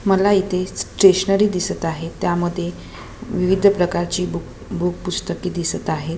मला इथे स्टेशनरी दिसत आहे त्यामध्ये विविध प्रकारची बूक बूक पुस्तके दिसत आहेत.